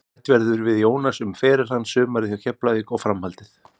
Rætt verður við Jónas um feril hans, sumarið hjá Keflavík og framhaldið.